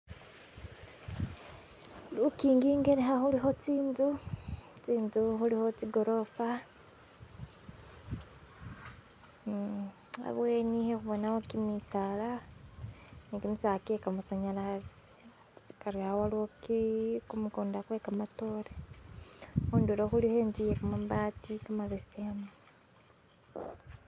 Lukhingi injelekha kulikho tsinzu tsinzu kulikho tsigorofa eem habweni hekubonawo kimisaala nikimisaala kye kamasanyalaze bariyawo luki kumukunda kwe kamatore hundulo khuliko intsu yekamabaati kamabesemu